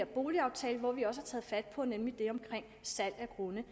boligaftale hvor vi også har taget fat på det omkring salg af grunde